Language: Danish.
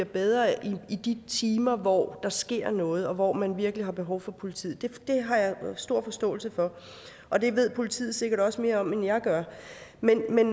bedre i de timer hvor der sker noget og hvor man virkelig har behov for politiet det har jeg stor forståelse for og det ved politiet sikkert også mere om end jeg gør men man